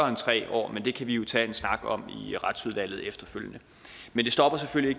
end tre år men det kan vi tage en snak om i retsudvalget efterfølgende men det stopper selvfølgelig